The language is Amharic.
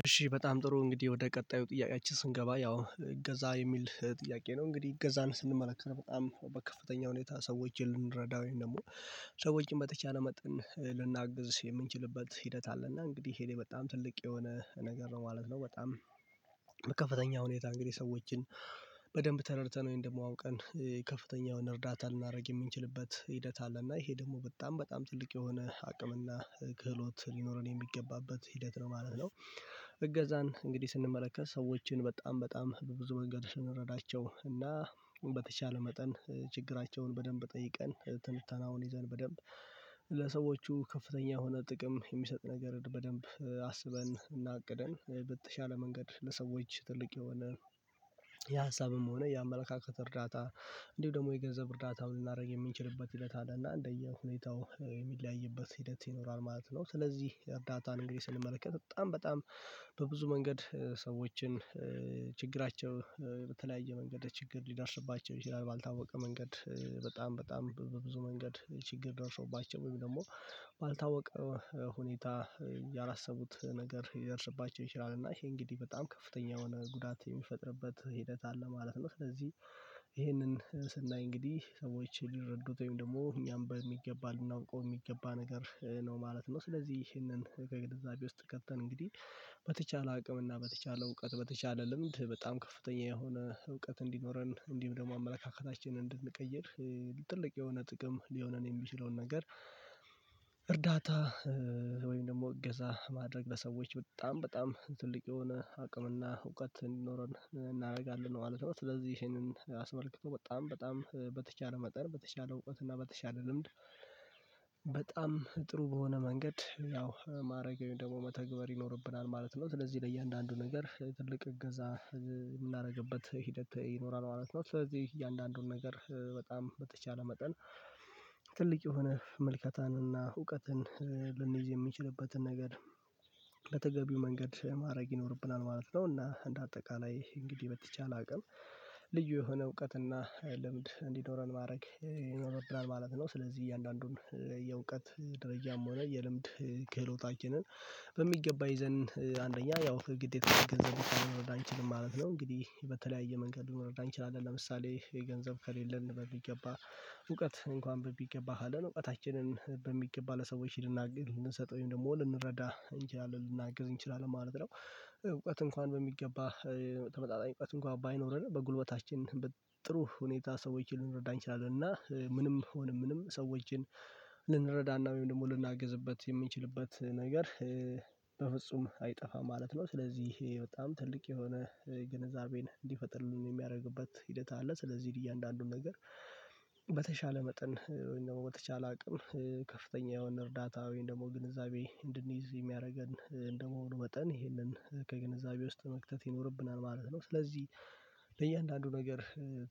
እሺ በጣም ጥሩ እንግዲህ ወደ ቀጣዩ ጥያቄያችን ስንገባ ያው እገዛ የሚል ጥያቄ ነው እንግዲህ እገዛን ስንመለከት በጣም በከፍተኛ ሁኔታ ሰዎችን ልንረዳው ወይም ደግሞ ሰዎችን በተቻለ መጠን ልናግዝ የምንችልበት ሂደት አለና እንግዲህ ይሄ በጣም ትልቅ የሆነ ነገር ነው ማለት ነው። በጣም በከፈተኛ ሁኔታ እንግዲህ ሰዎችን በደንብ ተረድተን እንደማውቀን ከፍተኛ የሆነ እርዳታ ልናደርግ የምንችልበት ሂደት አለ። እና ይሄ ደግሞ በጣም በጣም ጥልቅ የሆነ አቅምና ክህሎት ሊኖረን የሚገባበት ሂደት ነው ማለት ነው። እገዛን እንግዲህ ስንመለከት ሰዎችን በጣም በጣም በብዙ መንገድ ስንረዳቸው እና በተቻለ መጠን ችግራቸውን በደንብ ጠይቀን ትንተናውን ይዘን በደንብ ለሰዎቹ ከፍተኛ የሆነ ጥቅም የሚሰጥ ነገር በደንብ አስበን እና አቅደን በተሻለ መንገድ ለሰዎች ትልቅ የሆነ ሆነ የአመለካከት እርዳታ እንዲሁ ደግሞ የገንዘብ እርዳታውን ልናደርግ የምንችልበት እለት አለና እንደየሁኔታው የሚለያይበት ሂደት ይኖራል ማለት ነው። ስለዚህ እርዳታን እንግዲህ ስንመለከት በጣም በጣም በብዙ መንገድ ሰዎችን ችግራቸው በተለያየ መንገድ ችግር ሊደርስባቸው ይችላል ባልታወቀ መንገድ በጣም በጣም በብዙ መንገድ ችግር ደርሶባቸው ወይም ደግሞ ባልታወቀ ሁኔታ ያላሰቡት ነገር ይደርስባቸው ይችላል እና ይሄ እንግዲህ በጣም ከፍተኛ የሆነ ጉዳት የሚፈጥርበት ሂደት አለ ማለት ነው። ስለዚህ ይሄንን ስናይ እንግዲህ ሰዎች ሊረዱት ወይም ደግሞ እኛም በሚገባን ልናውቀው የሚገባ ነገር ነው ማለት ነው። ስለዚህ ይህንን ከግንዛቤ ውስጥ ከተን እንግዲህ በተቻለ አቅም እና በተቻለ እውቀት በተቻለ ልምድ በጣም ከፍተኛ የሆነ እውቀት እንዲኖረን እንዲህም ደግሞ አመለካከታችንን እንድንቀይር ትልቅ የሆነ ጥቅም ሊሆነን የሚችለውን ነገር እርዳታ ወይም ደግሞ እገዛ ማድረግ በሰዎች በጣም በጣም ትልቅ የሆነ አቅምና እውቀት እንዲኖረን እናደርጋለን ማለት ነው። ስለዚህ ይሄንን አስመልክቶ በጣም በጣም በተቻለ መጠን በተቻለ እውቀት እና በተቻለ ልምድ በጣም ጥሩ በሆነ መንገድ ያው ማድረግ ወይም ደግሞ መተግበር ይኖርብናል ማለት ነው። ስለዚህ ለእያንዳንዱ ነገር ትልቅ እገዛ የምናደርግበት ሂደት ይኖራል ማለት ነው። ስለዚህ እያንዳንዱን ነገር በጣም በተቻለ መጠን ትልቅ የሆነ መልከታንና እውቀትን ልንይዝ የሚችልበትን ነገር ለተገቢው መንገድ ማድረግ ይኖርብናል ማለት ነው። እና እንደ አጠቃላይ እንግዲህ በተቻለ አቅም ልዩ የሆነ እውቀት እና ልምድ እንዲኖረን ማድረግ ይኖርብናል ማለት ነው። ስለዚህ እያንዳንዱን የእውቀት ደረጃም ሆነ የልምድ ክህሎታችንን በሚገባ ይዘን አንደኛ ያው ግዴታ መረዳችን ማለት ነው። እንግዲህ በተለያየ መንገድ ልንረዳ እንችላለን ለምሳሌ የገንዘብ ከሌለን በሚገባ እውቀት እንኳን በሚገባ አለን እውቀታችንን በሚገባ ለሰዎች ልንናገር ልንሰጠውኝ ወይም ደግሞ ልንረዳ እንችላለን ልናግዝ እንችላለን ማለት ነው። እውቀት እንኳን በሚገባ ተመጣጣኝ እውቀት እንኳን ባይኖርህ በጉልበታችን ጥሩ ሁኔታ ሰዎችን ልንረዳ እንችላለን እና ምንም ሆነ ምንም ሰዎችን ልንረዳና ደግሞ ልናግዝበት የምንችልበት ነገር በፍጹም አይጠፋም ማለት ነው። ስለዚህ ይሄ በጣም ትልቅ የሆነ ግንዛቤን እንዲፈጥርን የሚያደርግበት ሂደት አለ። ስለዚህ እያንዳንዱን ነገር በተሻለ መጠን ወይም ደግሞ በተቻለ አቅም ከፍተኛ የሆነ እርዳታዊ ደግሞ ግንዛቤ እንድንይዝ የሚያደርገን እንደመሆኑ ወጠን ይሄንን ከግንዛቤ ውስጥ መክተት ይኖርብናል ማለት ነው። ስለዚህ ለእያንዳንዱ ነገር